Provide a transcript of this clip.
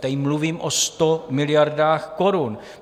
Tady mluvím o 100 miliardách korun.